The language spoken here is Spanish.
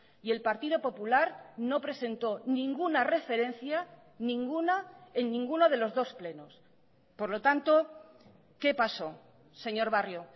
y el partido popular no presentó ninguna referencia ninguna en ninguno de los dos plenos por lo tanto qué paso señor barrio